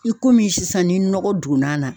I komi sisan ni nɔgɔ donn'a na